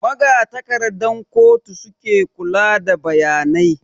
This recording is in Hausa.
Magatakardan kotu suke kula da bayanai